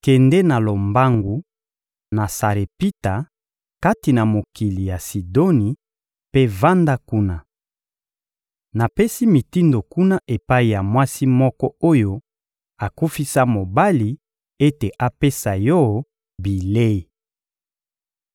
«Kende na lombangu na Sarepita, kati na mokili ya Sidoni, mpe vanda kuna. Napesi mitindo kuna epai ya mwasi moko oyo akufisa mobali ete apesa yo bilei.»